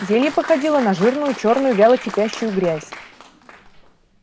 зелье походило на жирную чёрную вяло кипящую грязь